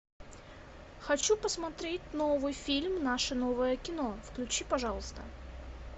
хочу посмотреть новый фильм наше новое кино включи пожалуйста